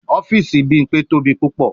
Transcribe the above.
Ọfiisi Bimpe tobi pupọ